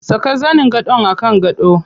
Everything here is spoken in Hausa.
Saka zanin gadon a kan gado.